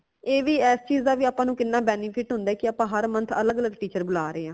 ਏ ਵੀ ਇਸ ਚੀਜ਼ ਦਾ ਵੀ ਆਪਾ ਨੂ ਕਿੰਨਾ benefit ਹੁੰਦਾ ਹੈ ਕਿ ਆਪਾ ਹਰ month ਅਲੱਗ ਅਲੱਗ teacher ਬੁਲਾ ਰਾਈ ਹਾਂ